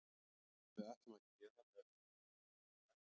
Allt sem við ætlum að gera með öðrum yrði afar erfitt.